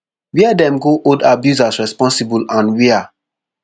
wia dem go hold abusers responsigble and wia